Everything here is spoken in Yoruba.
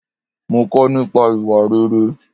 Mo kò nípa ìwà rere.